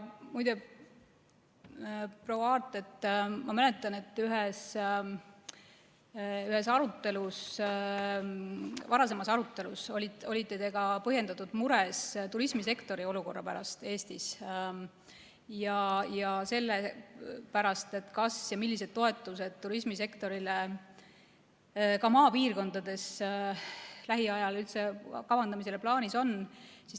Muide, proua Aart, ma mäletan, et ühes varasemas arutelus olite te põhjendatult mures turismisektori olukorra pärast Eestis ja selle pärast, millised toetused turismisektorile, ka maapiirkondades, lähiajal üldse kavandamisel või plaanis on.